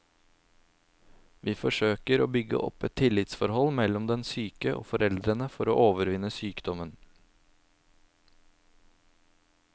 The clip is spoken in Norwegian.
Vi forsøker å bygge opp et tillitsforhold mellom den syke og foreldrene for å overvinne sykdommen.